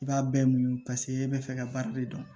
I b'a bɛɛ muɲu paseke e bɛ fɛ ka baara de dɔn